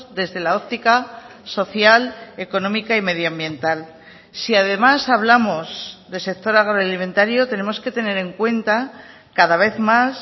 desde la óptica social económica y medioambiental si además hablamos de sector agroalimentario tenemos que tener en cuenta cada vez más